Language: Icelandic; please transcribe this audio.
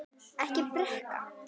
Ekki drekka.